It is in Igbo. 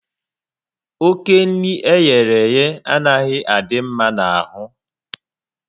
Oké nri eyereye anaghị adị mma n'ahụ